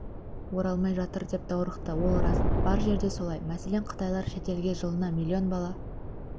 оралмай жатыр деп даурықты ол рас бар жерде солай мәселен қытайлар шетелге жылына миллион бала